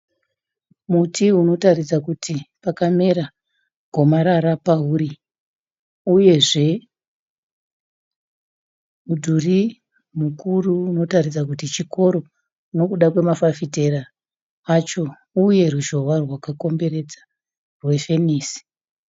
Muti unotaridza kuti wakamera gomarara pauri. Uyezve mudhuri mukuru unotaridza kuti chikoro nokuda kwemafafitera acho uye ruzhowa rwakakomberedza rwefenisi.